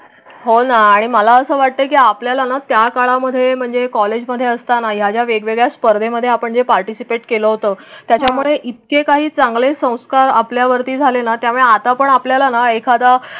होना आणि मला असं वाटतं की आपल्याला ना त्या काळामध्ये म्हणजे कॉलेजमध्ये असताना या वेगवेगळ्या स्पर्धेमध्ये आपण जे पार्टिसिपेट केलं होतं त्याचामुळे इतके काही चांगले संस्कार आपल्यावर झालेला. त्यामुळे आता पण आपल्याला एखादा.